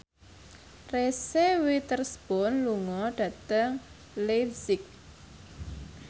Reese Witherspoon lunga dhateng leipzig